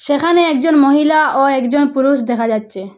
সেখানে একজন মহিলা ও একজন পুরুষ দেখা যাচ্ছে।